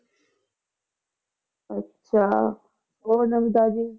ਅੱਛਾ ਹੋਰ ਨਵੀਂ ਤਾਜ਼ੀ